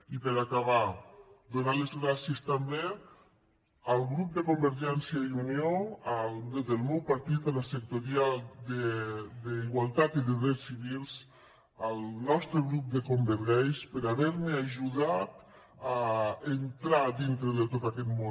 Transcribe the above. i per acabar donar les gràcies també al grup de convergència i unió del meu partit a la sectorial d’igualtat i de drets civils al nostre grup de convergais per haver me ajudat a entrar dintre de tot aquest món